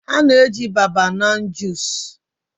a na-eji babanan junice